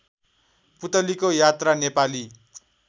पुलतीको यात्रा नेपाली